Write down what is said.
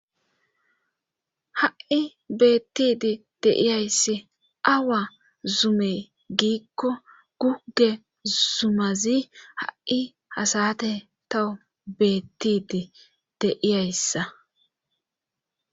ha7i beettidi deiyayssi awa zumey giikko gugge zumazi ha7i hasate tawo beettidi deiyayssa